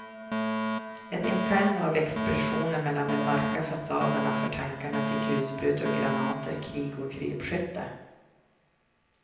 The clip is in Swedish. Ett inferno av explosioner mellan de mörka fasaderna för tankarna till kulsprutor och granater, krig och krypskytte.